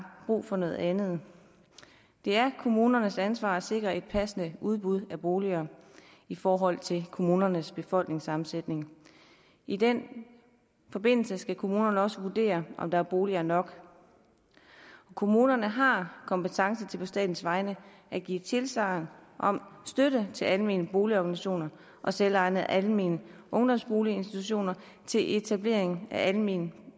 brug for noget andet det er kommunernes ansvar at sikre et passende udbud af boliger i forhold til kommunernes befolkningssammensætning i den forbindelse skal kommunerne også vurdere om der er boliger nok kommunerne har kompetence til på statens vegne at give tilsagn om støtte til almene boligorganisationer og selvejende almene ungdomsboliginstitutioner til etablering af almene